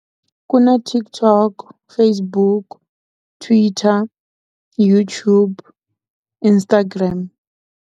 Ku na TikTok Facebook, Twitter, YouTube, Instagram.